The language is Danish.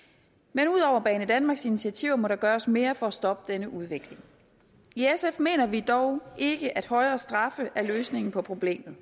men ud over banedanmarks initiativer må der gøres mere for at stoppe denne udvikling i sf mener vi dog ikke at højere straffe er løsningen på problemet